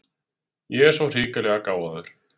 Ég er svo hrikalega gáfaður.